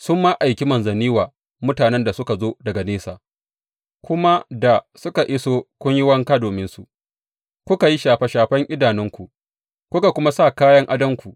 Sun ma aiki manzanni wa mutanen da suka zo daga nesa, kuma da suka iso kun yi wanka dominsu, kuka yi shafe shafen idanunku, kuka kuma sa kayan adonku.